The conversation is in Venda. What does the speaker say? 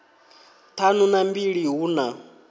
ṱhanu na mbili hu na